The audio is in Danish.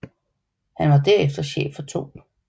Han var derefter chef for 2